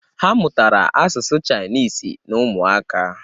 Ha mụtara asụsụ Chaịnisi n'ụmụaka.